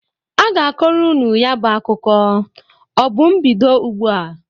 A ga-akọrọ unu ya bụ akụkụ. Ọ bụ m bido ụgbụ a?